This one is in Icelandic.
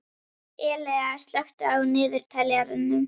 Elea, slökktu á niðurteljaranum.